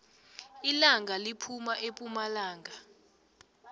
ilanga liphuma epumalanga